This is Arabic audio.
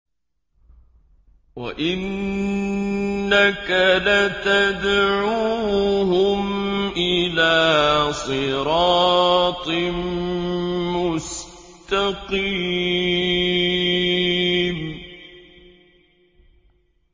وَإِنَّكَ لَتَدْعُوهُمْ إِلَىٰ صِرَاطٍ مُّسْتَقِيمٍ